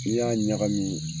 N'i y'a ɲagami